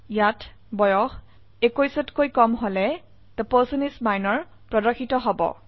ইয়াত বয়স 21কৈ কম হলে থে পাৰ্চন ইচ মিনৰ প্ৰদৰ্শিত হব